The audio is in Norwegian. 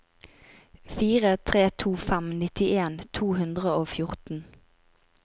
fire tre to fem nittien to hundre og fjorten